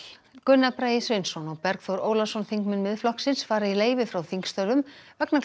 Gunnar Bragi Sveinsson og Bergþór Ólason þingmenn Miðflokksins fara í leyfi frá þingstörfum vegna